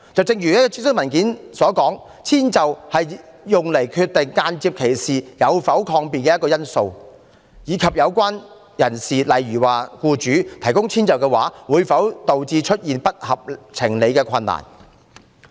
正如諮詢文件提到，遷就是用作決定間接歧視有否抗辯的一個因素，以及有關人士，例如僱主提供遷就的話，會否導致出現不合情理的困難。